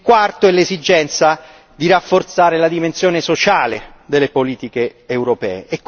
il quarto, è l'esigenza di rafforzare la dimensione sociale delle politiche europee.